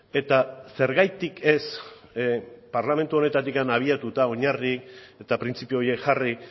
eta zergatik ez parlamentu honetatik abiatuta oinarri eta printzipio horiek jarri